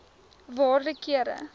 waarde kere